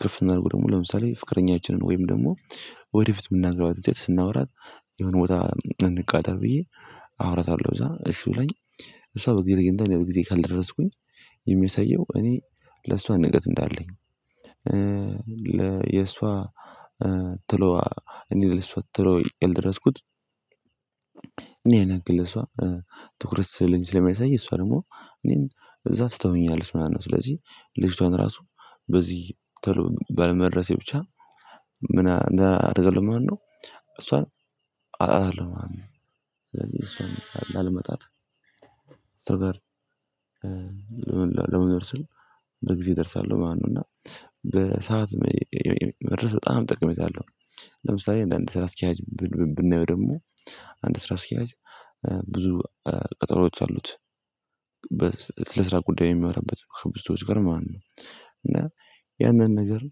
ከፍ ስናድርገው ደግሞ ለምሳሌ ፍቅረኛችንን ወይም ደግሞ ወደፊት የምናገባትን ሴት ስናወራት የሆነ ቦታ እንቃጠር ብዬ አወራታለሁ እዛ እሽ ብላኝ እሷ በጊዜ ተገኝታ እኔ በጊዜ ካልደረስኩኝ የሚያሳየው እኔ ለሷ ንቀት እንዳለኝ ለየሷ እኔ ለሷ ቶሎ ብየ ያልደረስኩት ያን ያክል ለሷ ትኩረት ስለሌለኝ ስለሚያሳይ እሷ ደግሞ እኔን እዛ ትተወኛለሽ ምናምን ነው ስለዚህ ልጅቷን ራሱ በዚህ ተሎ ባለመድረሴ ብቻ ምን አደርጋለሁ ማለት ነው እሷን አጣታለሁ ማለት ነው ስለዚህ እሷን ላለማጣት እሷ ጋር ለመኖር ስል በጊዜ እደርሳለሁ ማለት ነው እና በሰአት መድረስ በጣም ጠቅሜታ አለሁ ለምሳሌ አንዳንድ ስራ አስኪያጅ ብናየው ደግሞ አንድ ስራ አስኪያጅ ብዙ ቀጠሮዎች አሉት ስለ ስራ ጉዳይ የሚመራበት ብዙ ሰዎች ጋር ማለት ነው እና ያንን ነገር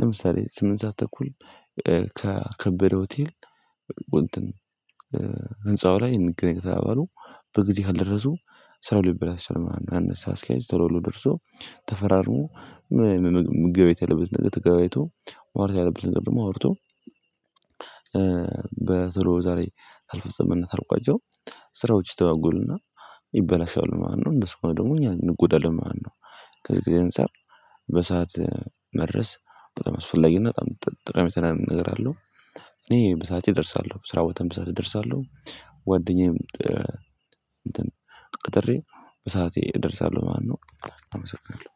ለምሳሌ ስምንት ሰዓት ተኩል ከከበደ ሆቴል እንትን ህንፃው ላይ ንግግር ተባባሉ በጊዜ ካልደረሱ ስለሆነ ይበልጥ አነሳ አስኪያጅ ተለውሎ ደርሶ ተፈራርሞ ምን አይነት ምግብ የለበትን ነገር ተገቢቶ አውርቶ ያለበትን ነገር ደግሞ አውርቶ በቶሎ ዛሬ አልፈጸምነት ካልቋጨው ስራዎች ሲተዋጉሉና ይበላሻሉ ማለት ነው እንደሰው እኮ ደግሞ እኛ እንጎዳለን ማለት ነው ከዚህ ጊዜ እንሰር በሰአት መድረስ በጣም አስፈላጊና በጣም ጥቅም ጠቀሜታ ነገር አለው እኔ በሰአቴ እደርሳለሁ ስራው በተንብሳ እደርሳለሁ ጓደኛም እንትን ቀጥሬ በሰአቴ እደርሳለሁ ማለት ነው አመሰግናለሁ